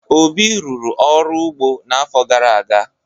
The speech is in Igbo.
Obi rụrụ ọrụ ugbo n'afọ gara aga.